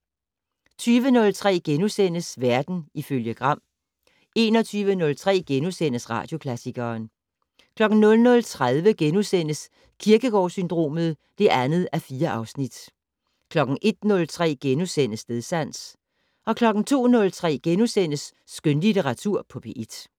20:03: Verden ifølge Gram * 21:03: Radioklassikeren * 00:30: Kierkegaard-syndromet (2:4)* 01:03: Stedsans * 02:03: Skønlitteratur på P1 *